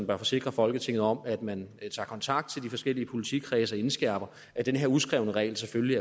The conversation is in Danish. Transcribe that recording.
bør forsikre folketinget om at man vil tage kontakt til de forskellige politikredse og indskærpe at den her uskrevne regel selvfølgelig